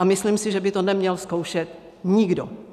A myslím si, že by to neměl zkoušet nikdo.